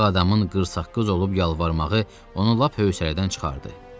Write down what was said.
Ağ adamın qırsaqqız olub yalvarmağı onu lap hövsələdən çıxardı.